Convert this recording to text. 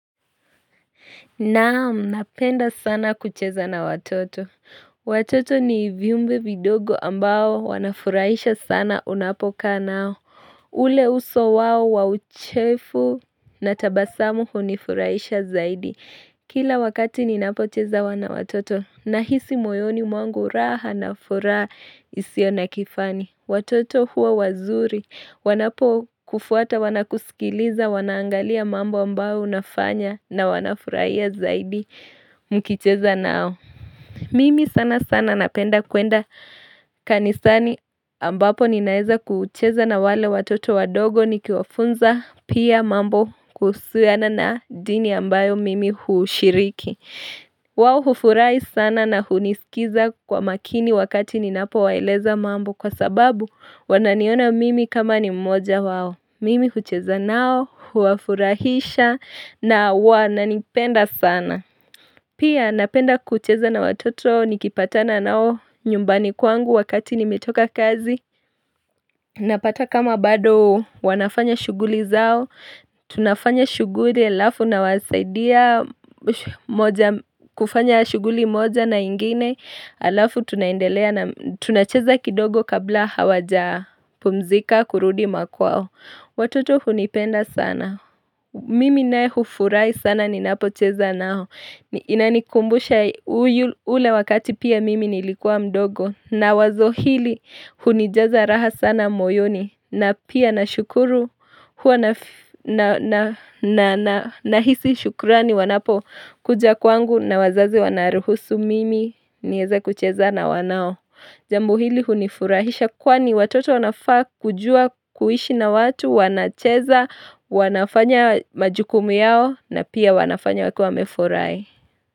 Naam, napenda sana kucheza na watoto. Watoto ni viumbe vidogo ambao wanafurahisha sana unapoka nao. Ule uso wao wa uchefu na tabasamu hunifurahisha zaidi. Kila wakati ninapocheza na watoto nahisi moyoni mwangu raha na furaha isiyo na kifani. Watoto huwa wazuri. Wanapo kufuata wanakusikiliza, wanaangalia mambo ambayo unafanya na wanafurahiya zaidi mkicheza nao. Mimi sana sana napenda kwenda kanisani ambapo ninaeza kucheza na wale watoto wadogo nikiwafunza pia mambo kuhusiana na dini ambayo mimi hushiriki. Wao hufurahi sana na hunisikiza kwa makini wakati ninapowaeleza mambo kwa sababu wananiona mimi kama ni mmoja wao Mimi hucheza nao, huwafurahisha na wananipenda sana Pia napenda kucheza na watoto nikipatana nao nyumbani kwangu wakati nimetoka kazi Napata kama bado wanafanya shuguli zao tunafanya shughuli alafu nawasaidia kufanya shughuli moja na ingine Alafu tunaendelea na tunacheza kidogo kabla hawajapumzika kurudi makwao Watoto hunipenda sana Mimi naye hufurahi sana ninapocheza nao Inanikumbusha ule wakati pia mimi nilikuwa mdogo na wazo hili hunijaza raha sana moyoni na pia nashukuru, nahisi shukurani wanapo kuja kwangu na wazazi wanaruhusu mimi niweza kucheza na wanao. Jambo hili hunifurahisha kwani watoto wanafaa kujua kuishi na watu, wanacheza, wanafanya majukumu yao na pia wanafanya wakiwa wamefurahi.